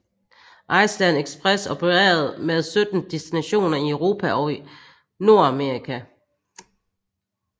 Iceland Express opererede med 17 destinationer i Europa og Nord Amerika